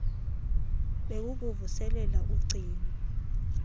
bee kukuvuselela ugcino